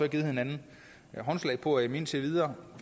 givet hinanden håndslag på at de indtil videre